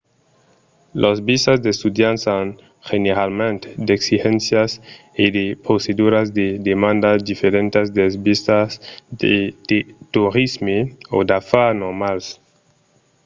los visas d'estudiants an generalament d'exigéncias e de proceduras de demanda diferentas dels visas de torisme o d'afars normals